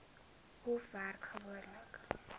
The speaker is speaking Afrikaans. hof werk gewoonlik